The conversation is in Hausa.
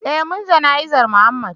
eh mun jana'zar Mohammed